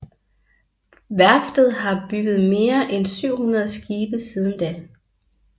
Værftet har bygget mere end 700 skibe siden da